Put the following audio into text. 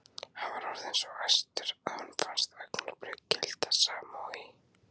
Hann var orðinn svo æstur að honum fannst augnablik gilda sama og í